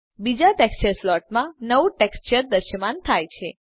બીજા ટેક્સચર સ્લોટમાં નવું ટેક્સચર દ્રશ્યમાન થાય છે